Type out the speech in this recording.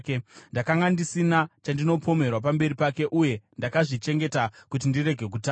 Ndakanga ndisina chandinopomerwa pamberi pake, uye ndakazvichengeta kuti ndirege kutadza.